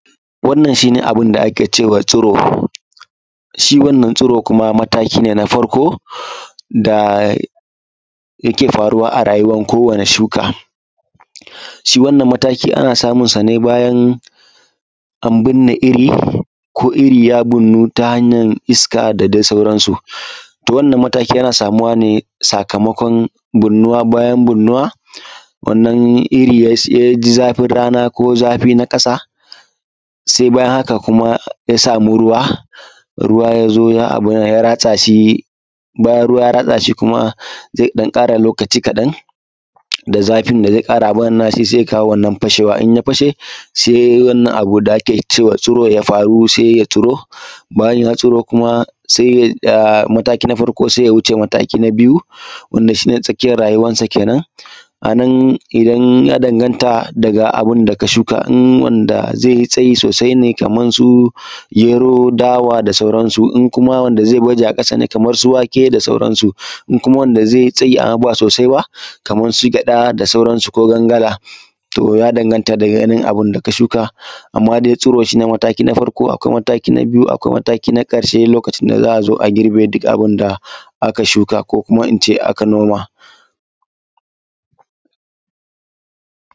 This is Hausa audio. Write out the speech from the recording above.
wannan shi ne: abin da ake ce wa tsiro shi wannan tsiro kuma mataki ne na farko da yake faruwa a rayuwan kowane shuka shi wannan mataki ana samunsa ne bayan an birne iri ko iri ya birnu ta hanyan iska da dai sauransu to wannan mataki yana samuwa ne sakamakon birnuwa bayan birnuwa wannan iri ya ji zafin rana ko zafi na ƙasa sai bayan haka kuma ya samu ruwa ruwa ya zo ya abin nan ya ratsa shi bayan bayan ruwa ya ratsa shi kuma zai ɗan ƙara lokaci kaɗan da zafin da zai ƙara abin nan nashi sai ya kawo wannan fashewa in ya fashe sai wannan abu da ake ce wa tsiro ya farun sai ya tsiro bayan ya tsiro kuma sai mataki na farko ya wuce mataki na biyu wanda shi ne tsakiyan rayuwansa kenan a nan idan ya danganta daga abin da ka shuka in wanda zai yi tsayi sosai ne kaman su gero dawa da sauransu in kuma wanda zai baje a ƙasa ne kaman su wake da sauransu in kuma wanda zai yi tsayi amma ba sosai ba kamar su gyaɗa da sauransu ko gangada to ya danganta dai da abin da ka shuka amma dai tsiro shi ne mataki na farko akwai mataki na biyu akwai na ƙarshe lokacin da za a zo a girbe duka abin da aka shuka ko kuma in ce aka noma